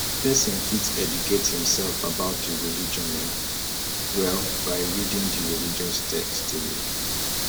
person fit educate im self about di religion um well by reading di religious text um